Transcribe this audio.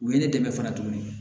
U ye ne dɛmɛ fana tuguni